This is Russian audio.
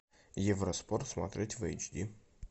евроспорт смотреть в эйчди